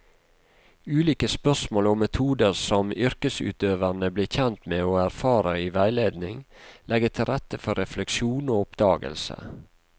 Ulike spørsmål og metoder som yrkesutøverne blir kjent med og erfarer i veiledning, legger til rette for refleksjon og oppdagelse.